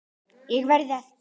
ÉG VERÐ AÐ